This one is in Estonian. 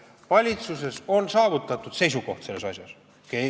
Valitsuses on saavutatud selles asjas seisukoht.